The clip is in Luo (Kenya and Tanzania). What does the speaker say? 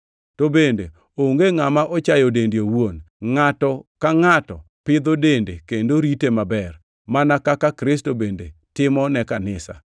To bende onge ngʼama ochayo dende owuon. Ngʼato ka ngʼato pidho dende kendo rite maber, mana kaka Kristo bende timo ne Kanisa,